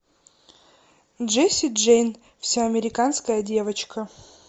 джесси джейн вся американская девочка